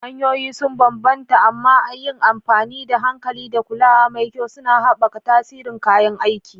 Hanyoyi sun bambanta, amma yin amfani da hankali da kulawa mai kyau suna haɓaka tasirin kayan aiki.